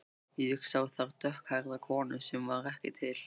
Ég sá þar dökkhærða konu sem var ekki til.